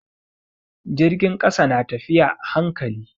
Jirgin ƙasa na tafiya a hankali.